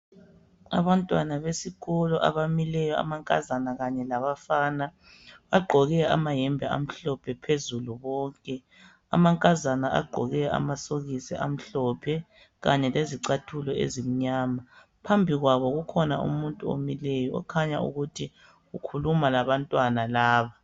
Abantwana besikolo abamileyo amankazana kanye labafana. Bagqoke amahembe amhlophe phezulu bonke. Amankazana agqoke amasokisi amhlophe kanye lezicathulo ezimnyama. Phambikwabo kukhona umuntu omileyo, okhanya ukuthi ukhuluma labantwana laba.